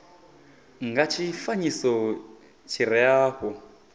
nga tshifanyiso tshi re afho